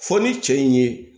Fɔ ni cɛ in ye